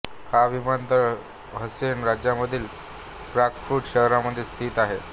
हा विमानतळ हेसेन राज्यामधील फ्रांकफुर्ट शहरामध्ये स्थित आहे